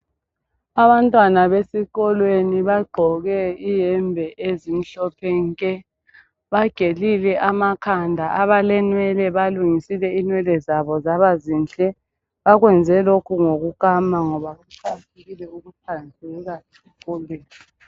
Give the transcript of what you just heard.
Abantwana besikolweni bagqoke iyembe ezimhlophe nke. Bagelile amakhanda abalenwele balungisile inwele zabo zabazinhle okwenze lokhu ngokukama ngoba kuqakathekile ukuhlanzeka kumbe.